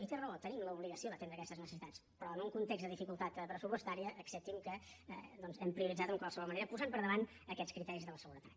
i té raó tenim l’obligació d’atendre aquestes necessitats però en un context de dificultat pressupostària accepti’m que ho hem prioritzat en qualsevol manera posant per davant aquests criteris de la seguretat